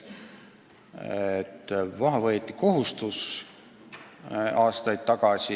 Aastaid tagasi võeti maha kohustus.